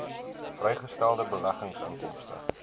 vrygestelde beleggingsinkomste